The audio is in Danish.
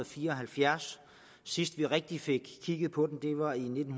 fire og halvfjerds og sidst vi rigtig fik kigget på den var i nitten